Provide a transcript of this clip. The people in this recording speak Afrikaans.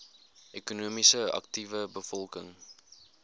ekonomies aktiewe bevolking